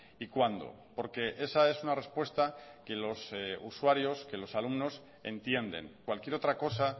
y cuándo porque esa es una respuesta que los usuarios que los alumnos entienden cualquier otra cosa